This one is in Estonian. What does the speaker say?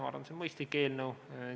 Ma arvan, et see on mõistlik eelnõu.